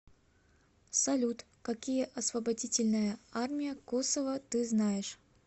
салют какие освободительная армия косово ты знаешь